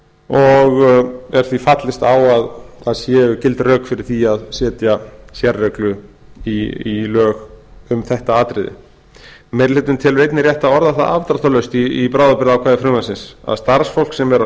og er því fallist á að það séu gild rök fyrir því að setja sérreglu í lög um þetta atriði meiri hlutinn telur einnig rétt að orða það afdráttarlaust í bráðabirgðaákvæði frumvarpsins að starfsfólk sem er á